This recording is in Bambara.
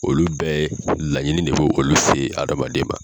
Olu bɛɛ laɲini de bo olu se hadamaden ma.